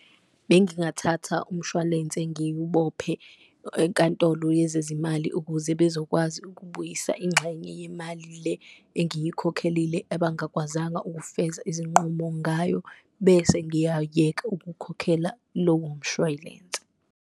Bengingathatha umshwalense ngiwubophe enkantolo yezezimali ukuze bezokwazi ukubuyisa ingxenye yemali, le engiyikhokhelile abangakwazanga ukufeza izinqumo ngayo bese ngiyayeka ukukhokhela lowo mshwalense.